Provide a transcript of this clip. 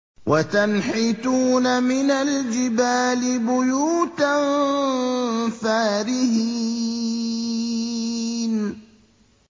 وَتَنْحِتُونَ مِنَ الْجِبَالِ بُيُوتًا فَارِهِينَ